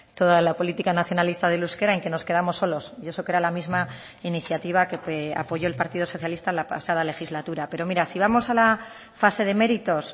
toda la política nacionalista del euskera en que nos quedamos solos y eso que era la misma iniciativa que apoyó el partido socialista la pasada legislatura pero mira si vamos a la fase de méritos